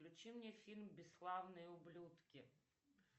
включи мне фильм бесславные ублюдки